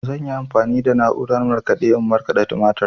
Zan yi amfani da na'urar markaɗe in markaɗa tumatir.